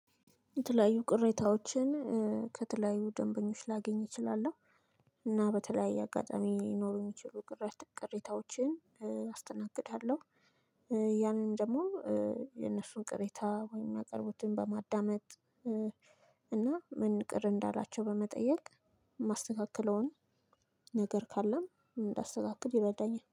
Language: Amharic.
የተለያዩ ቅሬታዎችን ከተለያዩ ደንበኞች ላገኝ እችላለሁ። እና በተለያየ አጋጣሚ ሊኖሩኝ የሚችሉ ቅሬታዎችን አስተናግዳለሁ። ያንን ደግሞ የነሱን ቅሬታ ወይም እሚያቅረቡትን በማዳመጥ እና ምን ቅር እንዳላቸው በመጠየቅ እማስተካክለውን ነገር ካለም እንዳስተካክል ይረዳኛል